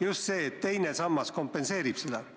just see, et teine sammas kompenseerib seda muudatust.